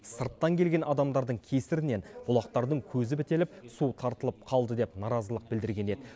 сырттан келген адамдардың кесірінен бұлақтардың көзі бітеліп су тартылып қалды деп наразылық білдірген еді